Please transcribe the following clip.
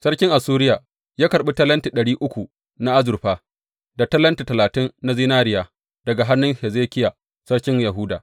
Sarkin Assuriya ya karɓi talenti ɗari uku na azurfa, da talenti talatin na zinariya daga hannun Hezekiya sarkin Yahuda.